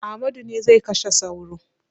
Amadu ne zai kashe sauro.